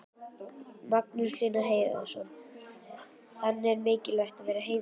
Magnús Hlynur Hreiðarsson: Þannig það er mikilvægt að vera heiðarlegur?